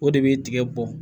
O de bɛ tigɛ bɔn